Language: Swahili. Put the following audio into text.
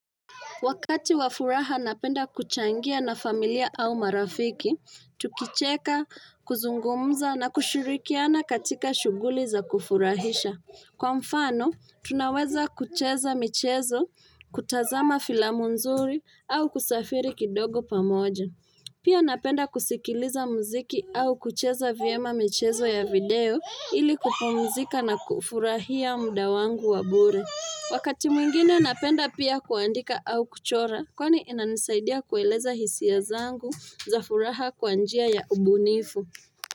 Wakati wafuraha napenda kuchangia na familia au marafiki, tukicheka, kuzungumza na kushirikiana katika shuguli za kufurahisha. Kwa mfano, tunaweza kucheza michezo, kutazama filamu nzuri au kusafiri kidogo pamoja. Pia napenda kusikiliza muziki au kucheza viema michezo ya video ili kupumzika na kufurahia mudawangu wabure. Wakati mwingine napenda pia kuandika au kuchora, kwani inanisaidia kueleza hisiya zangu za furaha kwa njia ya ubunifu.